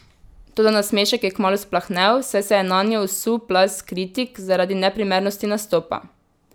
Toda nasmešek je kmalu splahnel, saj se je nanjo usul plaz kritik zaradi neprimernosti nastopa.